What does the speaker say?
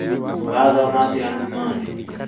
Ũrathoma atĩa nduma-inĩ?